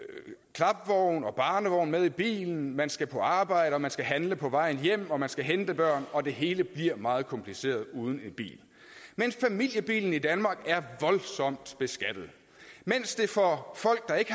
klapvogn og barnevogn med i bilen man skal på arbejde og man skal handle på vej hjem og man skal hente børn og det hele bliver meget kompliceret uden en bil men familiebilen i danmark er voldsomt beskattet mens det for folk der ikke